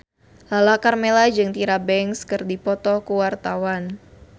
Lala Karmela jeung Tyra Banks keur dipoto ku wartawan